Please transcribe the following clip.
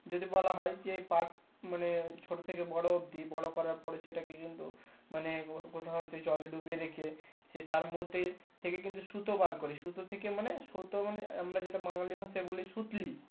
যদি বলা হয় যে পাট যে মানে ছোট থেকে বোরো অব্দি করার পরে সেটাকে কিন্তু মানে ও কোথায় হয়তো জলে ডুবিয়ে রেখে সে তার মধ্যে থেকে কিন্তু সুতো বার করে সুতো থেকে মানে সুতো মানে আমরা যেটা বাঙালি ভাষায় বলি সুতলি।